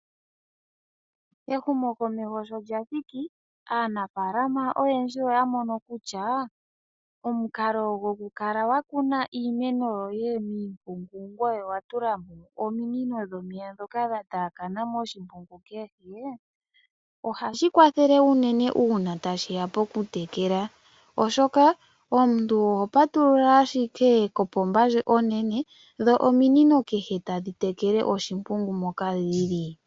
Ehumo komeho shoka lya thiki aanafalama oyendji oya mono kutya, omukalo goku kala wa kuna iimeno yoye miimpungu ngoye owa tulamo ominino dhomeya dhoka dha taakana moshimpungu kehe, ohashi kwathele uunene nge tashiya poku tekela, oshoka omuntu oho patulula ashike kopomba ndjoka onene, dho ominino kehe tadhi tekeke oshimpungu moka dhili.